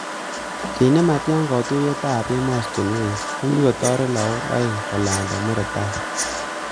Keny nematya kotuiyetab emostunwek kokitoret lagok aeng kolanda murotai